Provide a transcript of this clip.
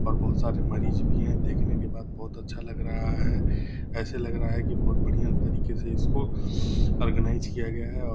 और बहुत सारे मरीज भी हैं। देखने के बाद बहुत अच्छा लग रहा है। ऐसा लग रहा है की बहुत बढ़िया तरिके से इसको ओर्गनाइज किया गया है और --